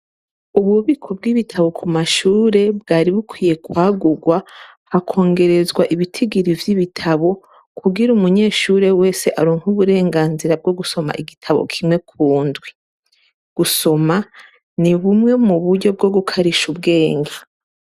Ububiko bw'ibitabo ku mashure, bwari bukwiye kwagurwa, hakongerezwa ibitigiri vy'ibitabo, kugira umunyeshure wese aronke uburenganzira bwo gusoma igitabo kimwe ku ndwi. Gusoma, ni bumwe mu buryo bwo gukarisha ubwenge.